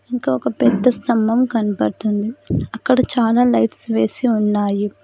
ఇంకొక పెద్ద స్తంభం కనబడుతుంది అక్కడ చాలా లైట్స్ వేసి ఉన్నాయి.